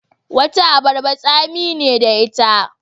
Wata abarbar tsami ne da ita.